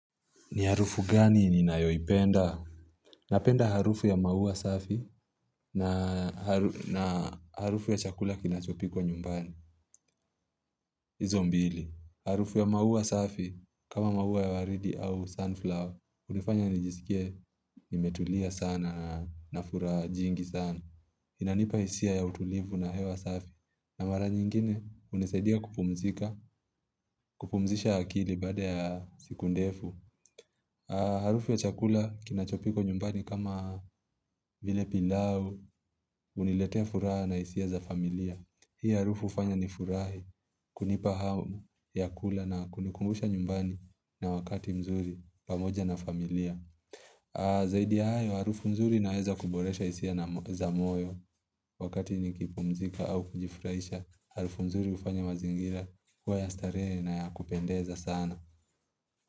Ni harufu gani ninayoipenda? Napenda harufu ya maua safi, na harufu ya chakula kinachopikwa nyumbani. Izo mbili. Harufu ya maua safi kama maua ya waridi au sunflower. Unifanya nijisikie nimetulia sana nafuraha jingi sana. Inanipa hisia ya utulivu na hewa safi. Na mara nyingine hunisaidia kupumzika. Kupumzisha akili baada ya siku ndefu. Harufu ya chakula kinachopikwa nyumbani kama vile pilau, huniletea furaha na hisia za familia. Hii harufu hufanya nifurahi, kunipa hamu ya kula na kunikumbusha nyumbani na wakati mzuri pamoja na familia Zaidi hayo harufu nzuri inaweza kuboresha hisia, za moyo wakati nikipumzika au kujifurahisha, harufu nzuri hufanya mazingira, kuwa ya starehe na ya kupendeza sana.